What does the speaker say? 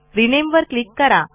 rename वर click करा